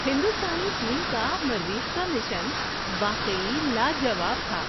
ہندوستانی ٹیم کا مریخ کا مشن واقعی لا جواب تھا!